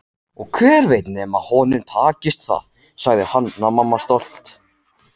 Og hver veit nema honum takist það, sagði Hanna-Mamma stolt.